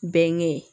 Bɛnkɛ